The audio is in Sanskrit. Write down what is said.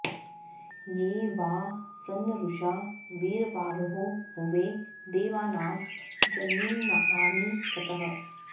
ये वा॒ सद्म॑न्नरु॒षा वी॑र॒वाहो॑ हु॒वे दे॒वानां॒ जनि॑मानि स॒त्तः